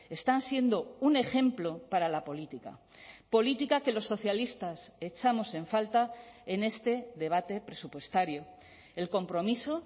están siendo un ejemplo para la política política que los socialistas echamos en falta en este debate presupuestario el compromiso